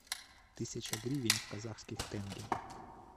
тысяча гривен в казахских тенге